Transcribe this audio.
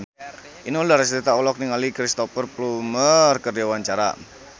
Inul Daratista olohok ningali Cristhoper Plumer keur diwawancara